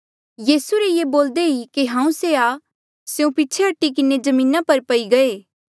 यीसू रे ये बोल्दे ई कि से हांऊँ आं स्यों पीछे हटी किन्हें जमीना पर पई गये